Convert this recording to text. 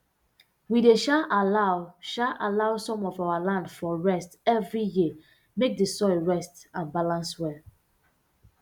we dey um allow um allow some of our land um rest every year make d soil rest and balance well